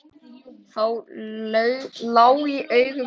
Það lá í augum uppi.